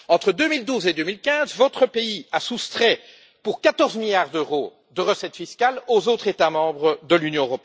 Entre 2012 et 2015, votre pays a soustrait pour 14 milliards d'euros de recettes fiscales aux autres États membres de l'Union.